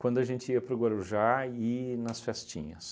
quando a gente ia para o Guarujá e nas festinhas.